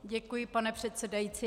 Děkuji, pane předsedající.